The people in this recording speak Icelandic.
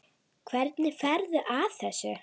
Hvernig ferðu að þessu?